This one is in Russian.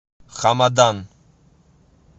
хамадан